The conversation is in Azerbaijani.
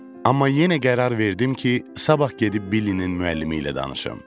Amma yenə qərar verdim ki, sabah gedib Billinin müəllimi ilə danışım.